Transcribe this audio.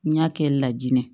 N y'a kɛ lajinɛ